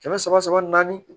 Kɛmɛ saba saba naani